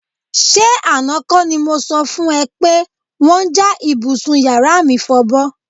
S̩e àná kó̩ ni mo so̩ fún e̩ pé wó̩n ja ibùsùn yàrá mi fo̩bó̩